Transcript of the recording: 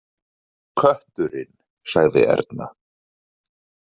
Kötturinn, sagði Erna.